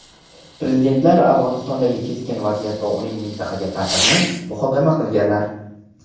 Prezidentlar Afg‘onistondagi keskin vaziyat va uning mintaqaga ta’sirini muhokama qilganlar.